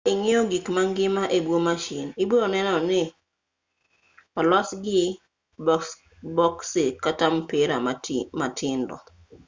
ka ing'iyo gik mangima e buo mashin ibronenoni olosgi boksi kata mpira matindo